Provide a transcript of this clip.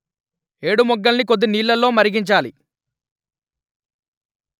ఏడుమొగ్గల్ని కొద్దినీళ్లలో మరిగించాలి